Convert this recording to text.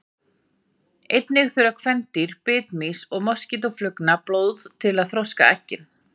Einnig þurfa kvendýr bitmýs og moskítóflugna blóð til að þroska eggin.